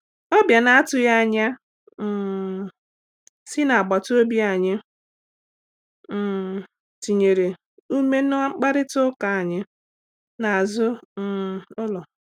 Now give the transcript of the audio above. Ọbịa na-atụghị anya um si n’agbataobi anyị um tinyere ume n’mkparịta ụka anyị n’azụ um ụlọ.